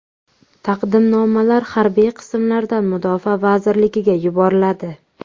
Taqdimnomalar harbiy qismlardan Mudofaa vazirligiga yuboriladi.